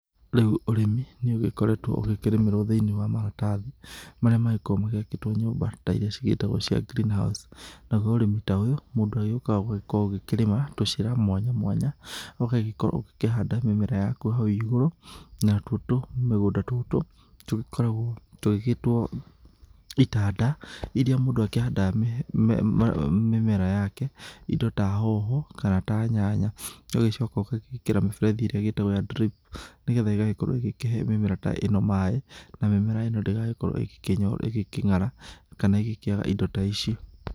Rĩu ũrĩmi nĩ ũgĩkoretwo ũgĩkĩrĩmĩrwo thĩiniĩ wa maratathi marĩa magĩkoragwo magĩakĩtwo nyũmba ta iria cigĩtagwo cia green house. Naguo ũrĩmi ta ũyũ, mũndũ agĩũkaga ũgagĩkoragwo akĩrĩma tũcĩra mwanya mwanya ũgagĩkorwo ũgĩkĩhanda mĩmera yaku hau igũrũ, na tuo tumĩgũnda tũtũ tũgĩkoragwo tũgĩgĩtwo itanda, iria mũndũ akĩhandaga mĩmera yake, indo ta hoho kana ta nyanya. Ũgagĩcoka ũgagĩgĩkĩra mĩberethi ĩrĩa ĩgĩtagwo ya drip nĩ getha ĩgagĩkorwo ĩgĩkĩhe mĩmera ta ĩno maĩ na mĩmera ĩno ndĩgagĩkorwo ĩgĩkĩng'ara kana ĩgĩkĩaga indo ta ici.